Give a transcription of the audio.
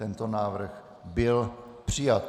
Tento návrh byl přijat.